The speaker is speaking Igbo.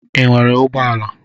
Ị nwere ụgbọala?